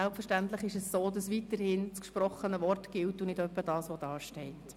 Selbstverständlich ist es weiterhin so, dass das gesprochene Wort gilt und nicht etwa das, was dort steht.